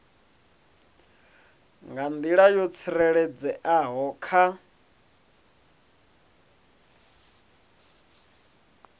nga nḓila yo tsireledzeaho kha